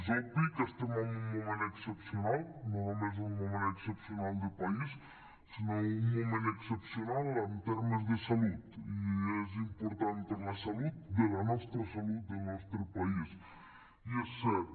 és obvi que estem en un moment excepcional no només un moment excepcional de país sinó un moment excepcional en termes de salut i és important per a la salut de la nostra salut del nostre país i és cert